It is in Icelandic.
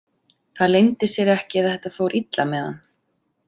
Það leyndi sér ekki að þetta fór illa með hann.